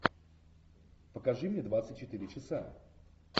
покажи мне двадцать четыре часа